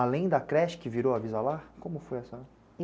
Além da creche que virou avisa-lar, como foi essa?